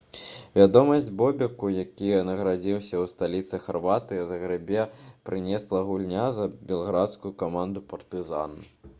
вядомасць бобеку які нарадзіўся ў сталіцы харватыі загрэбе прынесла гульня за белградскую каманду «партызан»